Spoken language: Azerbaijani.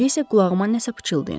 İndi isə qulağıma nəsə pıçıldayın.